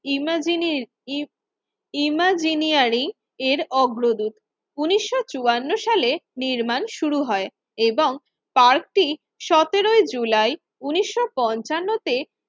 ইমাজিনিস ই ইমাজিনিয়ারি এর অগ্রদূত। উন্নিশশো চুয়ান্ন সালে নির্মাণ শুরু হয় এবং পার্কটি সতেরোই জুলাই উন্নিশশো পঞ্চান্ন তে